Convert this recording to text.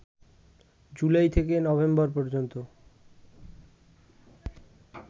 জুলাই থেকে নভেম্বর পর্যন্ত